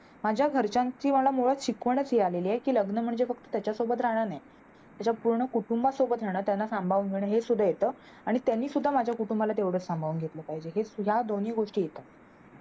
माझ्या घरच्यांची मला मुळात शिकवणच मिळालेली आहे की लग्न म्हणजे फक्त त्याच्या सोबत राहण नाही, त्याच्या पूर्ण कुटुंबासोबत राहणं त्यांना संभाळून घेणं, हे सुद्धा येत आणि त्यानी सुद्धा माझ्या कुटुंबाला तेवढे सांभाळून घेतल पाहिजे. या दोन्ही गोष्टी येतात.